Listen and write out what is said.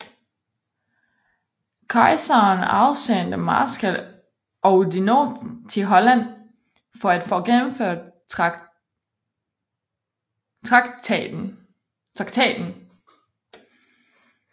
Kejseren afsendte marskal Oudinot til Holland for at få gennemført traktaten